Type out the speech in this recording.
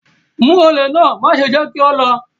Mu ole náà, maṣe jẹ ki o lọ!